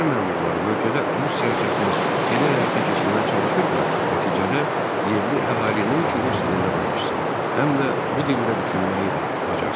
Çar məmurları bölgədə Rusiya siyasətini elə həyata keçirməyə çalışırdılar ki, nəticədə yerli əhali nəinki rus dilində danışsın, həm də bu dildə düşünməyi də bacarsın.